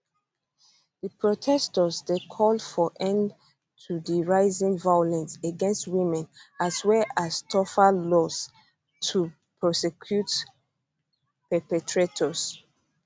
di protestors dey call for end to di rising violence against women as well as tougher laws to prosecute perpetrators